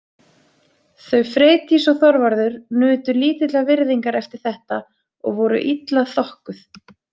Þau Freydís og Þorvarður nutu lítillar virðingar eftir þetta og voru illa þokkuð.